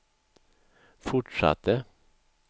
fortsatte